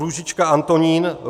Růžička Antonín